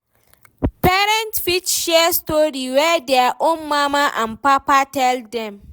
Parents fit share story wey their own mama and papa tell dem